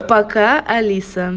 пока алиса